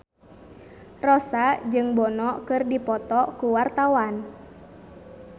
Rossa jeung Bono keur dipoto ku wartawan